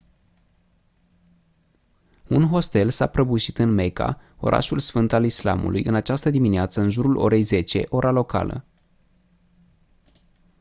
un hostel s-a prăbușit în mecca orașul sfânt al islamului în această dimineață în jurul orei 10 ora locală